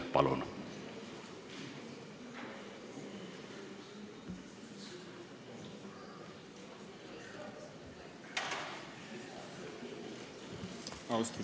Palun!